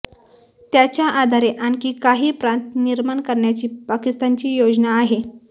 त्याच्या आधारे आणखी काही प्रांत निर्माण करण्याची पाकिस्तानची योजना आहे